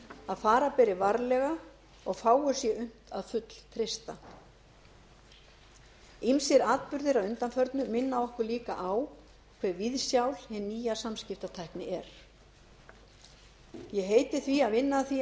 að fara beri varlega og fáu sé unnt að fulltreysta ýmsir atburðir að undanförnu minna okkur líka á hve viðsjál hin nýja samskiptatækni er ég heiti því að vinna að því